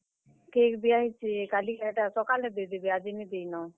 Cake ଦିଆହେଇଛେ କାଲିକା ହେଟା, ସକାଲେ ଦେଇଦେବେ, ଆଜି ନି ଦେଇନ।